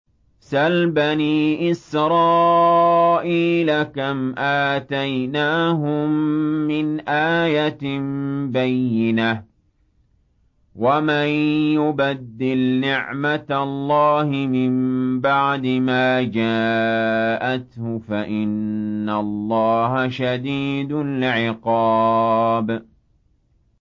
سَلْ بَنِي إِسْرَائِيلَ كَمْ آتَيْنَاهُم مِّنْ آيَةٍ بَيِّنَةٍ ۗ وَمَن يُبَدِّلْ نِعْمَةَ اللَّهِ مِن بَعْدِ مَا جَاءَتْهُ فَإِنَّ اللَّهَ شَدِيدُ الْعِقَابِ